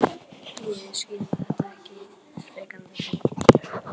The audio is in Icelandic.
Ég skil þetta ekki frekar en þú.